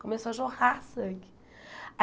Começou a jorrar sangue.